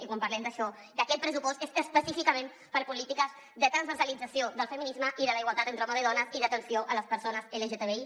i quan parlem d’això d’aquest pressupost és específicament per a polítiques de transversalització del feminisme i de la igualtat entre homes i dones i d’atenció a les persones lgtbi